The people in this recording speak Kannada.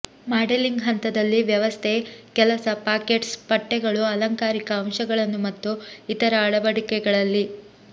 ಮಾಡೆಲಿಂಗ್ ಹಂತದಲ್ಲಿ ವ್ಯವಸ್ಥೆ ಕೆಲಸ ಪಾಕೆಟ್ಸ್ ಪಟ್ಟೆಗಳು ಅಲಂಕಾರಿಕ ಅಂಶಗಳನ್ನು ಮತ್ತು ಇತರ ಅಳವಡಿಕೆಗಳಲ್ಲಿ